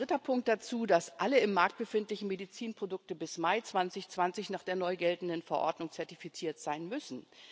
Dann kommt als dritter Punkt dazu, dass alle im Markt befindlichen Medizinprodukte bis Mai 2020 nach der neu geltenden Verordnung zertifiziert sein müssen.